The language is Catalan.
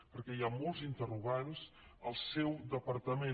perquè hi ha molts interrogants al seu departament